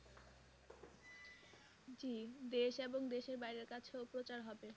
জি দেশ এবং দেশের বাইরের কাছেও প্রচার হবে।